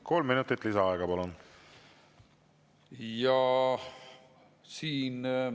Kolm minutit lisaaega, palun!